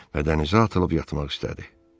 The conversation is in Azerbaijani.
Və dənizə atılıb yatmaq istədi.